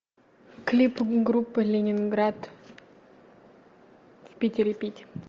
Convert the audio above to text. клип группы ленинград в питере пить